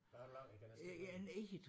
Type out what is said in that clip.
Hvad har du lavet jeg kan næsten ikke høre